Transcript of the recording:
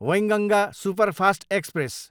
Wainganga superfast express